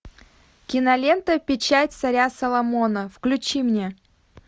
кинолента печать царя соломона включи мне